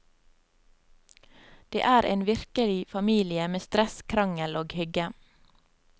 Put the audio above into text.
Det er en virkelig familie med stress, krangel og hygge.